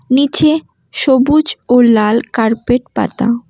নীচে সবুজ ও লাল কার্পেট পাতা।